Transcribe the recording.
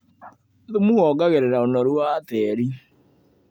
Thumu wongagĩrĩra ũnoru watĩri.